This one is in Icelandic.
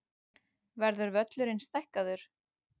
Verður völlurinn stækkaður?